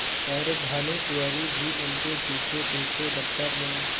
पर भानुकुँवरि भी उनके पीछेपीछे दफ्तर में